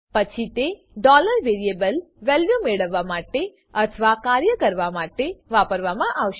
પછી તે variable value મેળવવા માટે અથવા કાર્ય કરવા માટે વાપરવા મા આવશે